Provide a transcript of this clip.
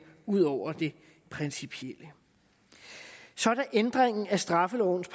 ud over det principielle så er der ændringen af straffelovens